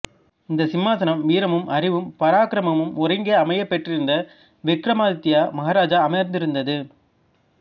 இந்த சிம்மாசனம் வீரமும் அறிவும் பராக்கிரமும் ஒருங்கே அமையப் பெற்றிருந்த விக்கிரமாதித்ய மகாராஜா அமர்ந்திருந்தது